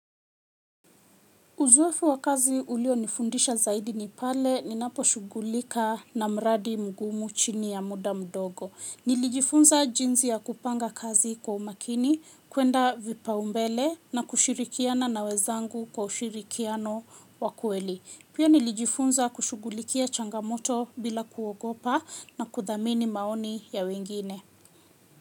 Uzoefu wa kazi ulio nifundisha zaidi nipale ni napo shugulika na mradi mgumu chini ya muda mdogo. Nilijifunza jinsi ya kupanga kazi kwa umakini, kuenda vipa umbele na kushirikiana na wezangu kwa ushirikiano wakweli. Pia nilijifunza kushugulikia changamoto bila kuogopa na kuthamini maoni ya wengine.